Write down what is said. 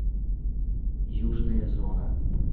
южная зона